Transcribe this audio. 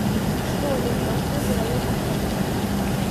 что лев толстой говорил о церкви